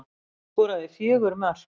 Hann skoraði fjögur mörk